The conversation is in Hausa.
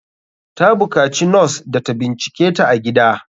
Ta bukaci nos da ta binciketa a gida.